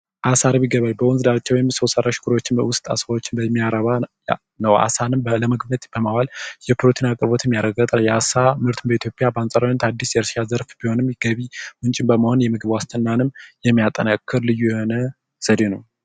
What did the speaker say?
አሳ አርቢ ገበሬ በወንዝ ዳርቻ ወይም በዉስጥ አሳወችን በሚያረባ ነዉ አሳወችን ለፕርቲን አቅርቦት በማዋል የሚታወቅ ቢሆንም ምግብነትን የሚያጠናክርም ልዩ የሆነ ዘዴ ነዉ